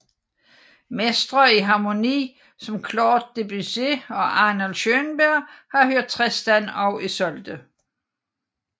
Mestre i harmoni som Claude Debussy og Arnold Schönberg har hørt Tristan og Isolde